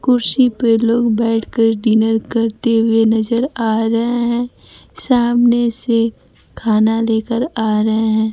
कुर्सी पे लोग बैठकर डिनर करते हुए नजर आ रहे हैं सामने से खाना लेकर आ रहे हैं।